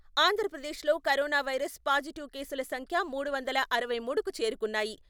ఆంధ్రప్రదేశ్లో corona virus positive కేసుల సంఖ్య మూడు వందల అరవై మూడుకు చేరుకున్నాయి.